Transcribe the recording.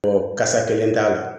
kasa kelen t'a la